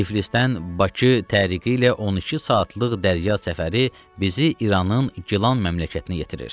Tiflisdən Bakı təriqi ilə 12 saatlıq dərya səfəri bizi İranın Gilan məmləkətinə yetirir.